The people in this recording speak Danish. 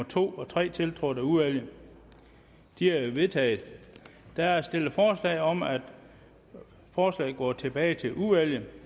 to og tre tiltrådt af udvalget de er vedtaget der er stillet forslag om at forslaget går tilbage til udvalget